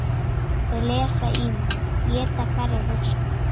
Þau lesa í mig, éta hverja hugsun.